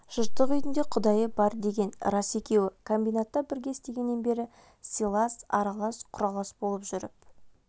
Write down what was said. жыртық үйдің де құдайы бар деген рас екеуі комбинатта бірге істегеннен бері сыйлас аралас-құралас болып жүріп